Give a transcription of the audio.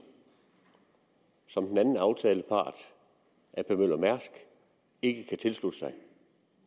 som den anden aftalepart ap møller mærsk ikke kan tilslutte sig